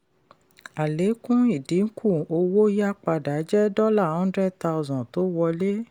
àlékún ìdínkù owó yá padà jẹ́ dollar hundred thousand tó wọlé.